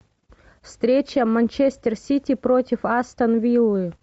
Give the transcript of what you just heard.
встреча манчестер сити против астон виллы